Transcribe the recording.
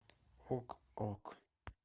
ок ок